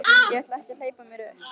Ég ætla ekki að hleypa mér upp.